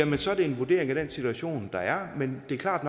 nu så er det en vurdering af den situation der er men det er klart